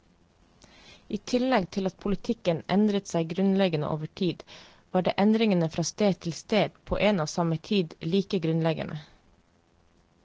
I tillegg til at politikken endret seg grunnleggende over tid, var endringene fra sted til sted på en og samme tid like grunnleggende.